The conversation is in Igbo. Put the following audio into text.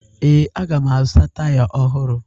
Ee, aga m azụta taya ọhụrụ